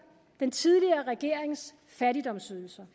den tidligere regerings fattigdomsydelser